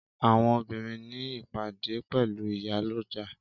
Àwọn obìnrin ní ìpàdé pẹ̀lú ìyálọ́jà